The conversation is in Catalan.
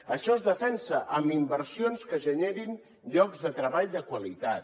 això es defensa amb inversions que generin llocs de treball de qualitat